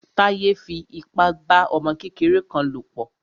Táyé fi ipa bá ọmọ kékeré kan lò pọ̀.